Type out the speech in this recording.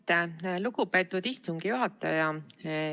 Aitäh, lugupeetud istungi juhataja!